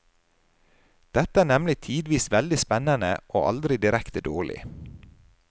Dette er nemlig tidvis veldig spennende, og aldri direkte dårlig.